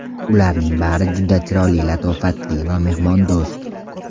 Ularning bari juda chiroyli, latofatli va mehmondo‘st.